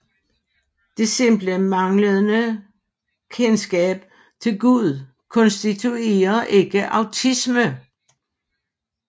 Det simple manglende kendskab til Gud konstituerer ikke ateisme